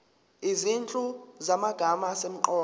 izinhlu zamagama asemqoka